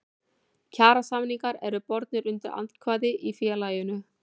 Kjarasamningar eru bornir undir atkvæði í félaginu.